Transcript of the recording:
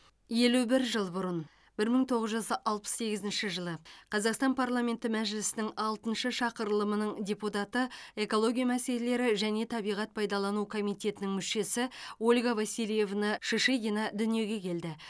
елу бір жыл бұрын бір мың тоғыз жүз алпыс сегізінші жылы қазақстан парламенті мәжілісінің алтыншы шақырылымының депутаты экология мәселелері және табиғат пайдалану комитетінің мүшесі ольга васильевна шишигина дүниеге келді